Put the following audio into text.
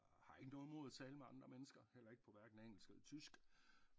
Har ikke noget imod at tale med andre mennesker heller ikke på hverken engelsk eller tysk